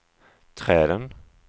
träden